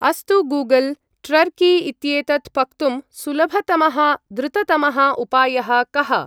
अस्तु, Google! Turkey इत्येतत् पक्तुं सुलभतमः द्रुततमः उपायः कः?